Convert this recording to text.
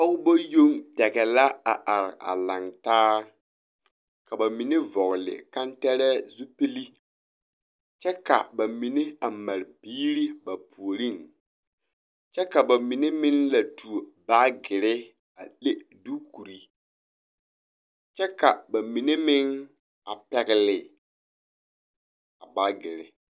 Pɔgeba yoŋtɛgɛ la a are a laŋ taa ka ba mine vɔgle kantɛrɛɛ zupili kyɛ ka ba mine a mare biiri ba puoriŋ kyɛ ka ba mine meŋ leɛ tuo baagere a le diikuri kyɛ ka ba mine meŋ a pɛgle a baagere.